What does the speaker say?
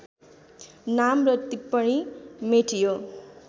नाम र टिप्पणी मेटियो